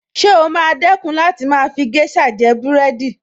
Ṣé o máa dẹ̀kun láti máa fi géṣà jẹ búrẹ́dì